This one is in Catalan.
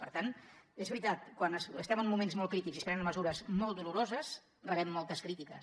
per tant és veritat quan estem en moments molt crítics i es prenen mesures molt doloroses rebem moltes crítiques